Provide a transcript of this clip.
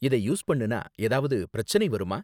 இதை யூஸ் பண்ணுனா ஏதாவது பிரச்சனை வருமா?